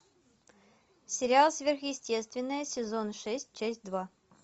сериал сверхъестественное сезон шесть часть два